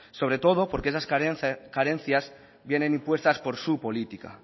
sobre todo porque esas carencias vienen impuestas por su política